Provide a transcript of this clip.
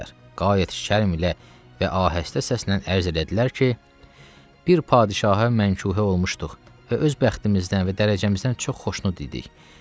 Qayət şərm ilə və ahəstə səslə ərş elədilər ki, bir padşahə mənkuhə olmuşduq və öz bəxtimizdən və dərəcəmizdən çox xoşnud idik.